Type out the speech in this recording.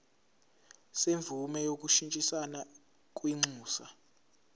semvume yokushintshisana kwinxusa